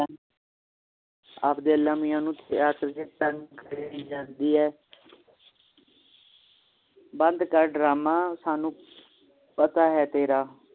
ਆਪਦੇ ਅਲਾਹ ਮੀਆਂ ਨੂੰ ਯਾਦ ਕਰਕੇ ਤੰਗ ਕਰਿ ਜਾਣੀ ਹੈ ਬੰਦ ਕਰ drama ਸਾਨੂੰ ਪਤਾ ਹੈ ਤੇਰਾ